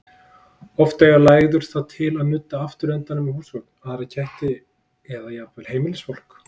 Oft eiga læður það til að nudda afturhlutanum við húsgögn, aðra ketti eða jafnvel heimilisfólkið.